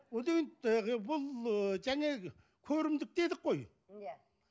бұл ы жаңағы көрімдік дедік қой иә